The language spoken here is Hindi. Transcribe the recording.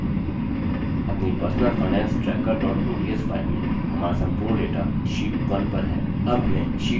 अपनी personalfinancetracker ods file में हमारा संपूर्ण data sheet 1 पर है